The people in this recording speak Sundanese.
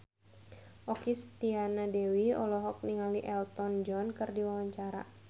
Okky Setiana Dewi olohok ningali Elton John keur diwawancara